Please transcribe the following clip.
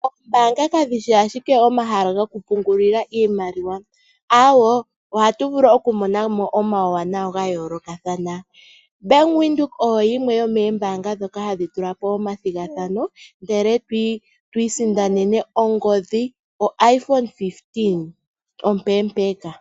Oombanga kadhi shi ashike omahala goku pungulila iimaliwa awoo, ohatu vulu oku monamo omauwanawa ga yoolokathana. Bank Windhoek oyo yimwe yo moombanga dhoka hadhi tulapo omathigathano, ndele twii sindanene ongodhi yo Iphone 15 ompempeka.